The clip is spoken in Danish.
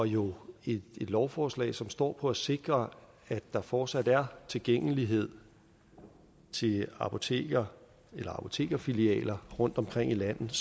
jo et lovforslag som står for at sikre at der fortsat er tilgængelighed til apoteker eller apotekerfilialer rundtomkring i landet